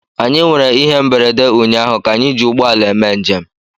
Anyị nwere ihe mberede ụnyaahụ ka anyị ji ụgbọ ala eme njem